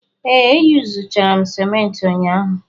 Ee, eyuzuchara m simenti ụnyaahụ.